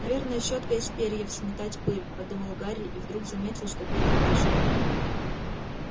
наверное щётка из перьев сметать пыль подумал гарри и вдруг заметил что перья дышат